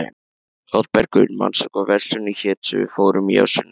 Oddbergur, manstu hvað verslunin hét sem við fórum í á sunnudaginn?